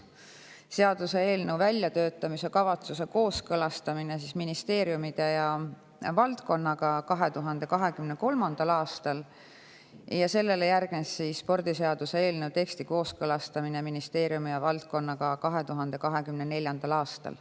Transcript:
Seaduseelnõu väljatöötamiskavatsuse kooskõlastamine ministeeriumide ja valdkonnaga toimus 2023. aastal ja sellele järgnes spordiseaduse eelnõu teksti kooskõlastamine ministeeriumide ja valdkonnaga 2024. aastal.